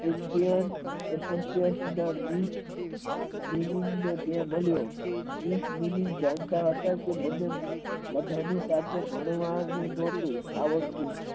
તે જાણતા હતા કે બધા ની સાથે ભણવાનું નોતું.